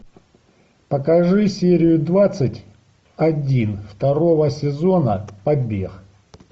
покажи серию двадцать один второго сезона побег